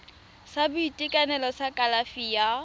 sa boitekanelo sa kalafi ya